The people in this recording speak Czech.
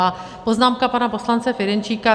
A poznámka pana poslance Ferjenčíka.